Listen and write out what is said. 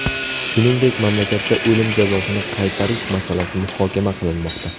Shuningdek, mamlakatda o‘lim jazosini qaytarish masalasi muhokama qilinmoqda.